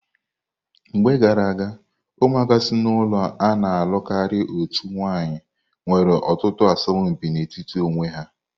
Mgbe gara aga, ụmụaka si n'ụlọ a na-alụ karịa otu nwanyị nwere ọtụtụ asọmpi n'etiti onwe ha.